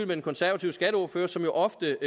den konservative skatteordfører som jo ofte